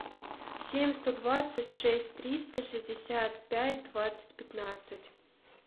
семь сто двадцать шесть триста шестьдесят пять двадцать пятнадцать